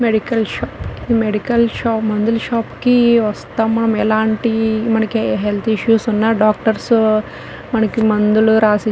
medical shop ఈ medical shop మందుల shop కి వస్తాం మనయెలంటి మనకే హెల్త్ ఇష్యూస్ ఉన్నా డాక్టర్స్ మనకు మందులు రాసి --